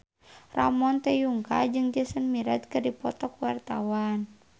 Ramon T. Yungka jeung Jason Mraz keur dipoto ku wartawan